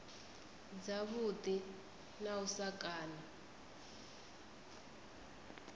dzavhuḓi na u sa kana